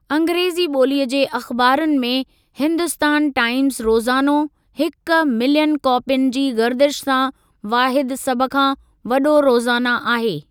अंग्रेज़ी बो॒लीअ जे अख़िबारुनि में हिन्दुस्तान टाइमज़ रोज़ानो हिकु मिलियन कापियुनि जी गर्दिश सां वाहिदु सभ खां वॾो रोज़ाना आहे।